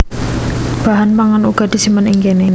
Bahan pangan uga disimpen ing kéné